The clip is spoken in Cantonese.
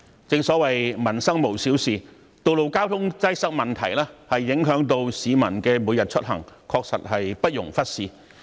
正所謂民生無小事，道路交通擠塞問題影響市民每天出行，確實不容忽視。